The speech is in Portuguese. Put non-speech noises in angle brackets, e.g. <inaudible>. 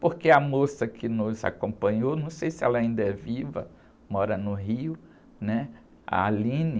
porque a moça que nos acompanhou, não sei se ela ainda é viva, mora no Rio, né? A, <unintelligible>